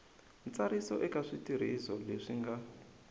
ntsariso eka switirhiso leswi nga